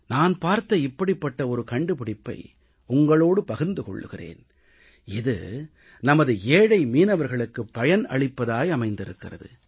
நான் பார்த்த இப்படிப்பட்ட ஒரு கண்டுபிடிப்பை உங்களோடு பகிர்ந்து கொள்கிறேன் இது நமது ஏழை மீனவர்களுக்குப் பயன் அளிப்பதாக அமைந்திருக்கிறது